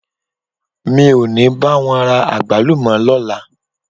Mi ò ní bá wọn ra àgbálùmọ́ lọ́la.